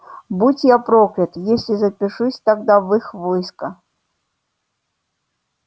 будь я проклят если запишусь тогда в их войско